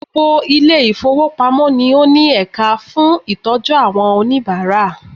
Gbogbo Ilé ìfowópamọ́ ni ó ní ẹ̀ka fún ìtọ́jú àwọn oníbàárà